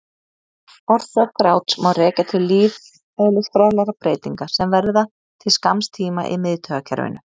Orsök gráts má rekja til lífeðlisfræðilegra breytinga sem verða til skamms tíma í miðtaugakerfinu.